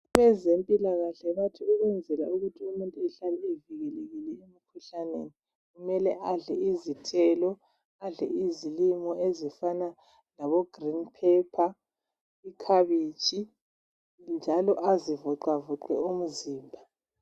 Abezempilakahle bathi ukwenzela ukuthi umuntu ukuze ahlale evikelekile emkhuhlaneni .Kumele izithelo ,adle izilimo ezifana labo green phepha ,ikhabitshi njalo azivoxavoxe umzimba.